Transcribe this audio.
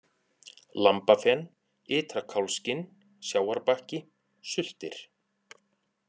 Lambafen, Ytra-Kálfsskinn, Sjávarbakki, Sultir